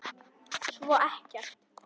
Svo ekkert.